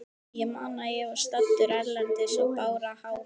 Ég man að ég var staddur erlendis og bara hágrét.